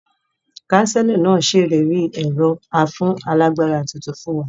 Kánsílọ̀ náà sèlérí ẹ̀rọ afúnálagbára tuntun fún wa